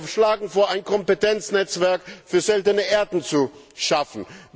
Wir schlagen vor, ein Kompetenznetzwerk für Seltene Erden zu schaffen.